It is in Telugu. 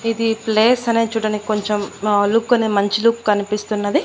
ఇది ప్లేస్ అనేది చూడ్డానికి కొంచెం ఆ లుక్ అనే మంచి లుక్ కన్పిస్తున్నది.